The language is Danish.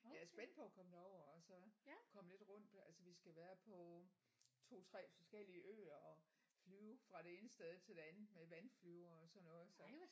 Jeg er spændt på at komme derover og så komme lidt rundt altså vi skal være på 2 3 forskellige øer og flyve fra det ene sted til det andet med vandflyver og sådan noget så